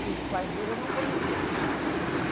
Que os pais dele eu não conheci.